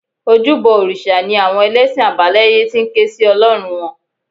Ojúbọ òrìṣà ni àwọn ẹlẹ́sìn àbáláyé ti ń ké sí Ọlọ́run wọn